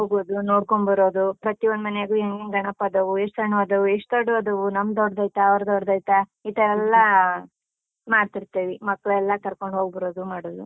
ಹೋಗೋದು, ನೋಡ್ಕೊಂಡ್ ಬರೋದು, ಪ್ರತ್ಯೊಂದ್‌ ಮನೆಯಾಗು ಹೆಂಗೆಂಗ್ ಗಣಪ ಅದಾವು, ಎಷ್ಟ್ ಸಣ್ವದವು, ಎಷ್ಟ್ ದೊಡ್ವದವು, ನಮ್ದ್ ದೊಡ್ಡೈತ, ಅವ್ರ್ದ್ ದೊಡ್ಡ್‌ದೈತಾ, ಈತರ ಎಲ್ಲ ಮಾಡ್ತಿರ್ತೇವಿ, ಮಕ್ಳೆಲ್ಲ ಕರ್ಕೊಂಡ್ ಹೋಗ್ಬರೋದು ಮಾಡೋದು.